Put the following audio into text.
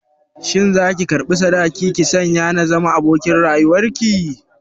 Shin za ki karɓi sadaki ki sanya na zama abokin rayuwar ki?